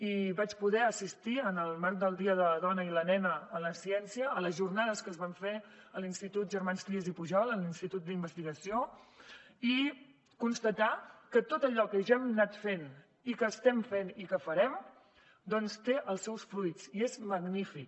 i vaig poder assistir en el marc del dia de les dones i les nenes en la ciència a les jornades que es van fer a l’institut germans trias i pujol a l’institut d’investigació i constatar que tot allò que ja hem anat fent i que estem fent i que farem doncs té els seus fruits i és magnífic